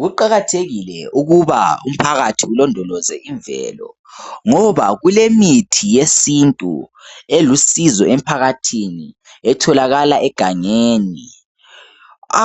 Kuqakathekile ukuba umphakathi ulondoloze imvelo ngoba kulemithi yesintu elusizo emphakathini etholakala egangeni.